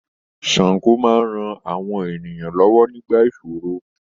Sango máa ran àwọn ènìyàn lọ́wọ́ nígbà ìṣòro.